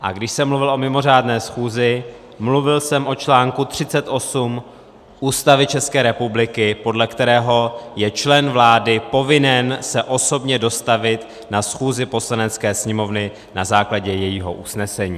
A když jsem mluvil o mimořádné schůzi, mluvil jsem o článku 38 Ústavy České republiky, podle kterého je člen vlády povinen se osobně dostavit na schůzi Poslanecké sněmovny na základě jejího usnesení.